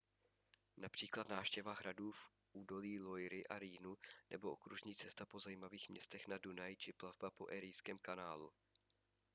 například návštěva hradů v údolí loiry a rýnu nebo okružní cesta po zajímavých městech na dunaji či plavba po erijském kanálu